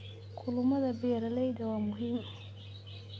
Kulamada beeralayda waa muhiim.